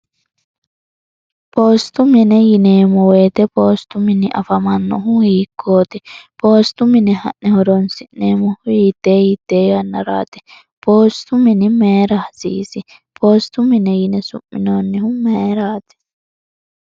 poostu mine yineemmo woyite poostu mini afamannohu hiikkooti poostu mine ha'ne horonsi'neemmohuittee yittee yannaraati poostu mini meera hasiisi poostu mine yine su'minoonnihu meeraati